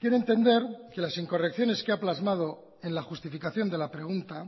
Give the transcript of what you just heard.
quiero entender que las incorrecciones que ha plasmado en la justificación de la pregunta